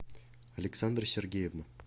александра сергеевна